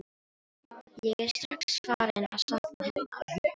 Ég er strax farinn að sakna hennar.